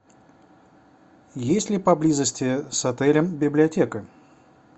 есть ли поблизости с отелем библиотека